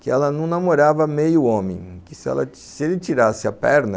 que ela não namorava meio homem, que se ele tirasse a perna...